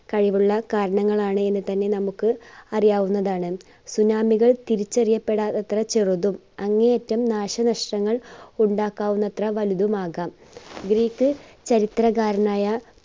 കഴിവുള്ള കാരണങ്ങൾ ആണ് എന്ന് തന്നെ നമ്മുക്ക് അറിയാവുന്നതാണ്. tsunami കൾ തിരിച്ചറിയപ്പെടാത്തത്ര ചെറുതും അങ്ങേയറ്റം നാശ നഷ്ടങ്ങൾ ഉണ്ടാക്കാവുന്നത്ര വലുതുമാകാം. greek ചരിത്രകാരനായ